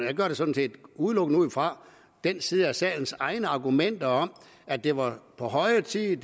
vi gør det sådan set udelukkende ud fra den side af salens egne argumenter om at det var på høje tid